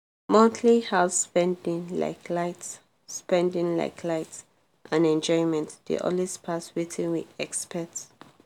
monthly house spending like light spending like light and enjoyment dey always pass wetin we expect.